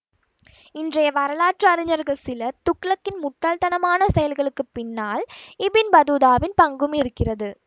இன்றைய வரலாற்று அறிஞர்கள் சிலர் துக்ளக்கின் முட்டாள்தனமான செயல்களுக்குப் பின்னால் இபின் பதூதாவின் பங்கும் இருக்கிறது